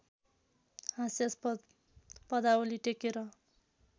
हास्यास्पद पदावली टेकेर